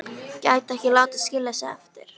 Gæti ekki látið skilja sig eftir.